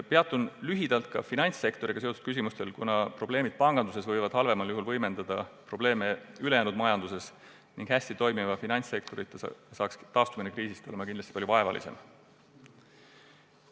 Peatun lühidalt ka finantssektoriga seotud küsimustel, kuna panganduses esinevad probleemid võivad halvemal juhul võimendada probleeme ka ülejäänud majanduses ning hästi toimiva finantssektorita oleks kriisist taastumine kindlasti palju vaevalisem.